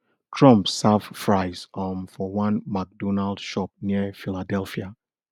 trump serve fries um for one mcdonald shop near philadelphia